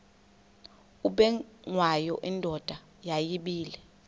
ubengwayo indoda yayibile